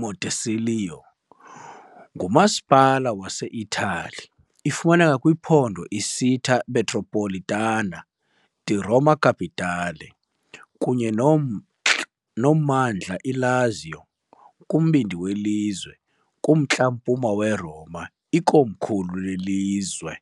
Montecelio, ngumasipala waseItali. Ifumaneka kwiphondo Città metropolitana di Roma Capitale kunye nomntla nommandla Lazio, kumbindi welizwe, km kumntla-mpuma weRoma, ikomkhulu lelizwe.